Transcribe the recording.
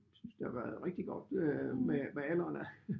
Synes jeg har været rigtig godt med alderen